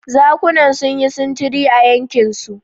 Zakunan sun yi sintiri a yankinsu.